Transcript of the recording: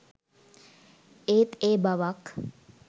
ඒත් ඒ බවක්